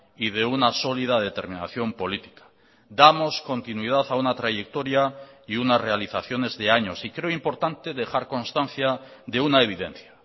y de una sólida determinación política damos continuidad a una trayectoria y una realizaciones de años y creo importante dejar constancia de una evidencia